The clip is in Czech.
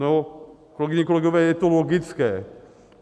No, kolegyně, kolegové, je to logické.